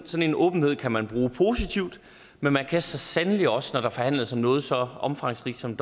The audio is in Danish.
en åbenhed kan man bruge positivt men man kan så sandelig også når der forhandles om noget så omfangsrigt som